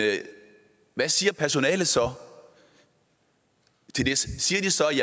hvad siger personalet så til det siger de så